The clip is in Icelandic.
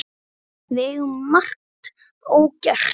Við eigum margt ógert.